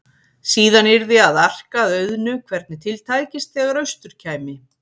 Síðan yrði að arka að auðnu hvernig til tækist þegar austur kæmi.